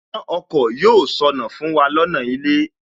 Iná ọkọ̀ yóò ṣọnà fún wa lọ́nà ilé